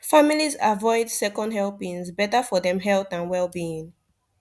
families avoid second helpings better for dem health and wellbeing